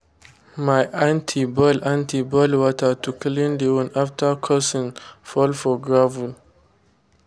my aunty boil aunty boil water to clean the wound after cousin fall for gravel.